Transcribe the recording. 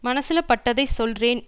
மனசுல பட்டதை சொல்றேன்